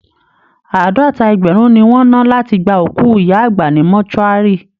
Àádọ́ta ẹgbẹ̀rún ni wọ́n ná láti gba òkú ìyá àgbà ní mortuary